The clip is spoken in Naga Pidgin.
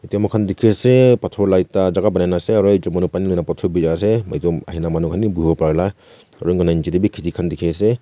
etu moi khan dikhi ase pathor lah ekta jaga banai na ase aru etu ahi na manu khan bhi bohibo para lah aru etu nicche teh bhi kheti khan dikhi ase.